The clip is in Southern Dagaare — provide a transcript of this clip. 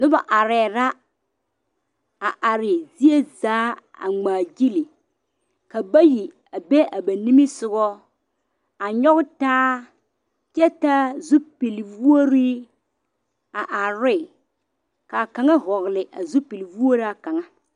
Noba are la a are zie zaa a ŋmaa gyile ka bata a be a ba niŋe soga a nyoŋ taa kyɛ taa zupele woɔre a are ne kaa kaŋa vɔgle a zupele woɔraa kaŋa.